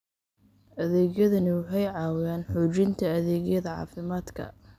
Adeegyadani waxay caawiyaan xoojinta adeegyada caafimaadka.